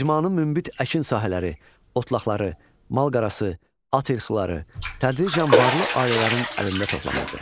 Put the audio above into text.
İcmanın münbit əkin sahələri, otlaqları, malqarası, at ilxıları tədricən varlı ailələrin əlində toplanırdı.